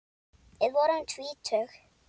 Við vorum tvítug.